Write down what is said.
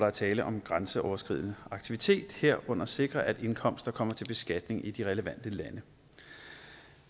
er tale om en grænseoverskridende aktivitet herunder at sikre at indkomster kommer til beskatning i de relevante lande